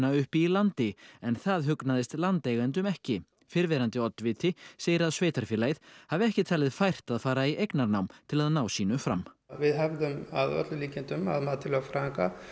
uppi í landi en það hugnaðist landeigendum ekki fyrrverandi oddviti segir að sveitarfélagið hafi ekki talið fært að fara í eignarnám til að ná sínu fram við hefðum að öllum líkindum að mati lögfræðinga